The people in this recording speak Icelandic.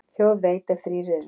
Þjóð veit, ef þrír eru.